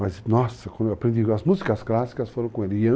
Mas, nossa, como eu aprendi as músicas clássicas, eu falo com ele.